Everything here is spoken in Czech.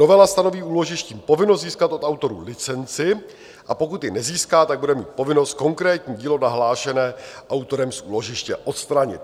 Novela stanoví úložišti povinnost získat od autorů licenci, a pokud ji nezíská, tak bude mít povinnost konkrétní dílo nahlášené autorem z úložiště odstranit.